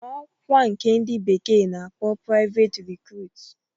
..n'ọkwa nke ndi bekee na-akpọ praiveti rikruut